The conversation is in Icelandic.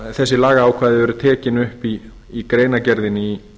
þessi lagaákvæði eru tekin upp í